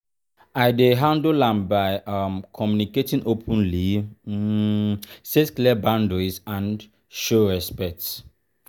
i dey handle am by um communicating openly um set clear boundaries and show respect.